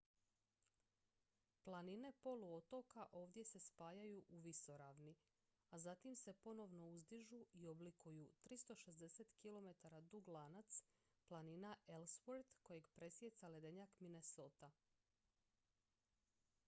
planine poluotoka ovdje se spajaju u visoravni a zatim se ponovno uzdižu i oblikuju 360 km dug lanac planina ellsworth kojeg presijeca ledenjak minnesota